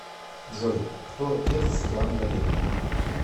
джой кто отец светланы валерьевны